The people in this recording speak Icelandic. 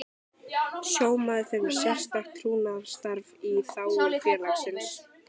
Stjórnarmaður fer með sérstakt trúnaðarstarf í þágu félagsins.